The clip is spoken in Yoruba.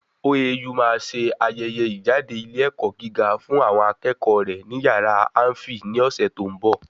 OAU máa se ayẹyẹ ìjáde ilé ẹ̀kọ́ gíga fún àwọn akẹ́kọ̀ọ́ rẹ̀ ni yàrá áḿfì ní ọ̀sẹ̀ tó ń bọ̀